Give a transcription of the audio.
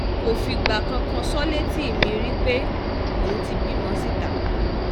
kò fìgbà kankan sọ ọ́ létí mi rí pé òun ti bímọ síta